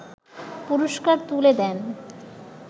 পুরষ্কার তুলে দেন